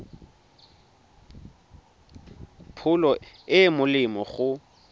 pholo e e molemo go